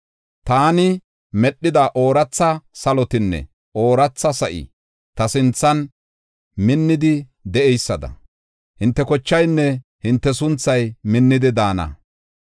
“Taani medhida ooratha salotinne ooratha sa7i ta sinthan minnidi de7eysada, hinte kochaynne hinte sunthay minnidi daana.